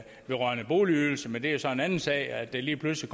vedrørende boligydelse men det er så en anden sag at det lige pludselig